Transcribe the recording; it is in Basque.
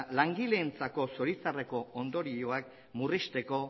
langileentzako zoritxarreko ondorioak murrizteko